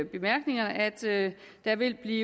bemærkningerne at der vil blive